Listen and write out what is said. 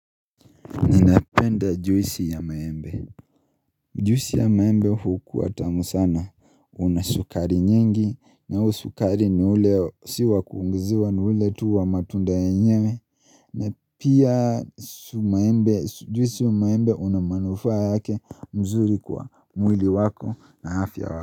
Ninapenda juisi ya maembe Juisi ya maembe hukua tamu sana ina sukari nyengi na sukari ni ule siwa kuongezewa ni ule tu wa matunda yenyewe na pia juisi ya maembe ina manufaa yake nzuri kwa mwili wako na afya yako.